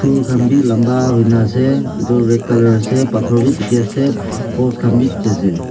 phool khan wii lamba huina ase itu red colour ase pathor wii dikhi ase post khan wii dikhi ase.